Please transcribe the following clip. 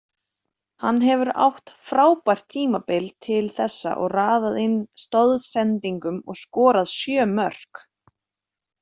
Hann hefur átt frábært tímabil til þessa og raðað inn stoðsendingum og skorað sjö mörk.